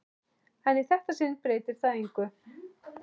En í þetta sinn breytir það engu.